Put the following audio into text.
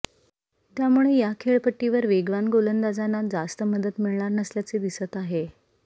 त्यामुळे या खेळपट्टीवर वेगवान गोलंदाजांना जास्त मदत मिळणार नसल्याचे दिसत आहे